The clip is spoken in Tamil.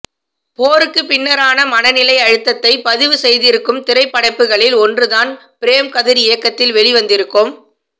போருக்கு பின்னரான மனநிலை அழுத்தத்தை பதிவு செய்திருக்கும் திரைப்படைப்புகளில் ஒன்றுதான் பிரேம் கதிர் இயக்கத்தில் வெளிவந்திருக்கும்